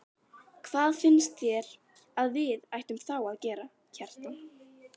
Hvað finnst þér að við ættum þá að gera, Kjartan?